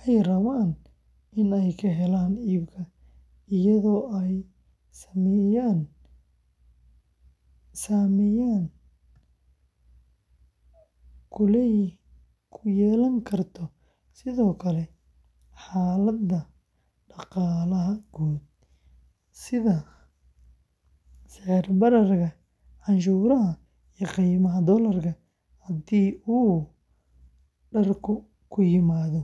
ay rabaan in ay ka helaan iibka, iyadoo ay saameyn ku yeelan karto sidoo kale xaaladda dhaqaalaha guud, sida sicir-bararka, canshuuraha iyo qiimaha doolarka haddii dharku ka yimaaddo dibadda.